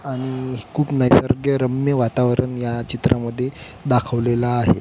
आणि खुप निसर्गरम्य वातावरण ह्या चित्रामध्ये दाखवलेल आहे.